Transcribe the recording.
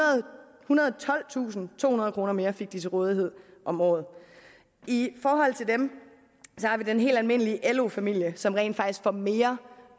tolvtusindtohundrede kroner mere fik de til rådighed om året i forhold til dem har vi den helt almindelige lo familie som rent faktisk får mere